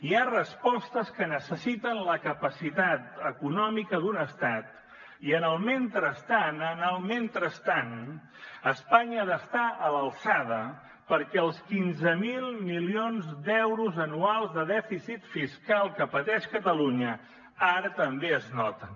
hi ha respostes que necessiten la capacitat econòmica d’un estat i en el mentrestant en el mentrestant espanya ha d’estar a l’alçada perquè els quinze mil milions d’euros anuals de dèficit fiscal que pateix catalunya ara també es noten